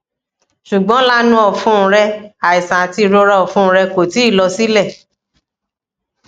ṣugbọn laanu ọfun rẹ aiṣan ati irora ọfun rẹ ko ti lọ silẹ